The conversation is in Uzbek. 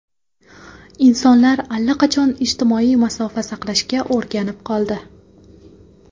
Insonlar allaqachon ijtimoiy masofa saqlashga o‘rganib qoldi.